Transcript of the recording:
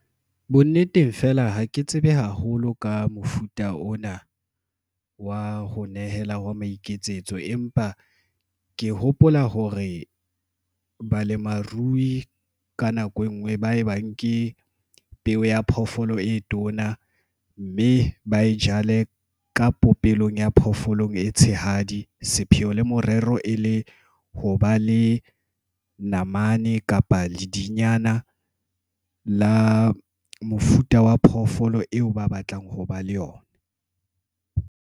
Bo nneteng fela ha ke tsebe haholo ka mofuta ona wa ho nehela wa maiketsetso, empa ke hopola hore balemarui ka nako engwe ba ebang ke peo ya phoofolo e tona mme ba e jale ka popelong ya phoofolong e tshehadi. Sepheo le morero e le ho ba le namane kapa ledinyana la mofuta wa phoofolo eo ba batlang ho ba le yona.